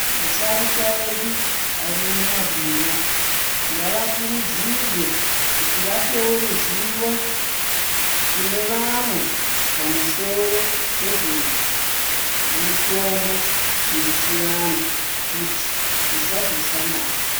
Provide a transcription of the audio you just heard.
Asharukwa edu ari mumabuya ngavakurudzirwe kuti vapewo ruzivo kune vamwe pamusoro pezvemitombo yechivantu kuti zvisazofa navo.